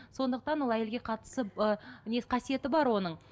сондықтан ол әйелге қатысы не қасиеті бар оның